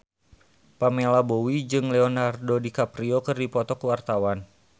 Pamela Bowie jeung Leonardo DiCaprio keur dipoto ku wartawan